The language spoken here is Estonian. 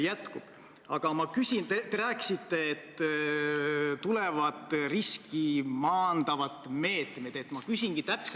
Ma ei arva, et austatud Riigikogu peaks seadusesse panema, missuguseid pilte tohib kasutada ja missuguseid pilte ei tohi kasutada.